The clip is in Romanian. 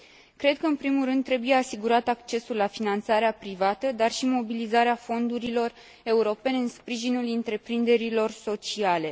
Cred că, în primul rând, trebuie asigurat accesul la finanțarea privată, dar și mobilizarea fondurilor europene în sprijinul întreprinderilor sociale.